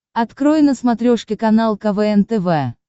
открой на смотрешке канал квн тв